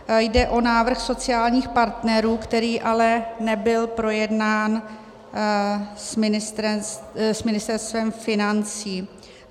Jde o návrh sociálních partnerů, který ale nebyl projednán s Ministerstvem financí.